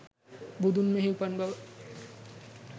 බුදුන් මෙහි උපන් බව